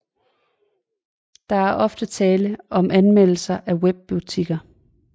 Der er ofte tale om anmeldelser af webbutikker